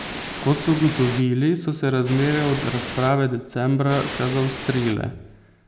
Kot so ugotovili, so se razmere od razprave decembra še zaostrile.